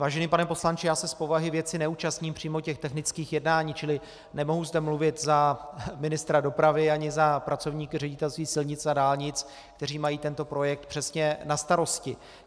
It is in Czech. Vážený pane poslanče já se z povahy věci neúčastním přímo těch technických jednání, čili nemohu zde mluvit za ministra dopravy ani za pracovníky Ředitelství silnic a dálnic, kteří mají tento projekt přesně na starosti.